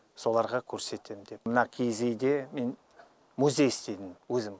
соларға көрсетем деп мына киіз үйде мен музей істедім өзім